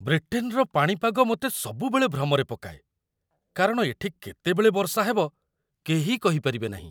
ବ୍ରିଟେନର ପାଣିପାଗ ମୋତେ ସବୁବେଳେ ଭ୍ରମରେ ପକାଏ, କାରଣ ଏଠି କେତେବେଳେ ବର୍ଷା ହେବ, କେହି କହିପାରିବେ ନାହିଁ।